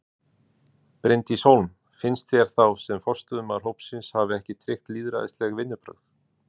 Bryndís Hólm: Finnst þér þá sem forystumaður hópsins hafi ekki tryggt lýðræðisleg vinnubrögð?